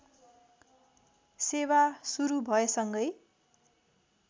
सेवा सुरू भएसँगै